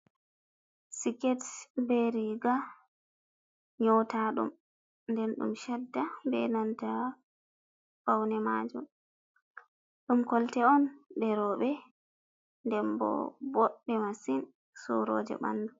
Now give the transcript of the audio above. Siket be riga nyota ɗum nden ɗum shadda be nanta paune maajun ɗum kolte on ɗeroɓe, denbo boɗɗe masin suroje ɓandu.